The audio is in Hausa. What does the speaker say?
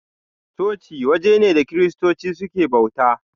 Coci waje ne da kiristoci suke bauta.